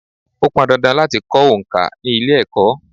Ó pọn dandan láti kọ òǹkà ni ilé-Ẹ̀kọ́.